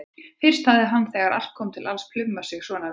Fyrst hann hafði þegar allt kom til alls plumað sig svona vel.